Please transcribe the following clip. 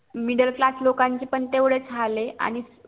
middle class चे पण तेवढेच हाल ये आणि